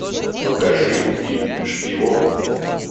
покажи фильм шпион